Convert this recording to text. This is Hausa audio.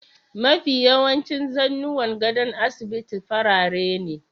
Mafi yawancin zannuwan gadon asibiti farare ne.